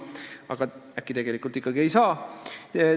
Aga äkki tegelikult ikkagi ei saa!